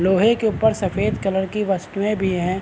लोहे के ऊप्पर सफ़ेद कलर की वस्तुऐं भी है।